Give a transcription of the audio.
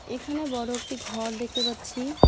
এখানে বড়ো একটি ঘর দেখতে পাচ্ছি।